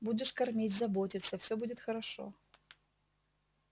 будешь кормить заботиться всё будет хорошо